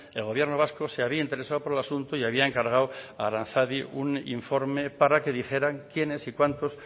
el gobierno vasco se había interesado por el asunto y había encargado a aranzadi un informe para que dijeran quiénes y cuántos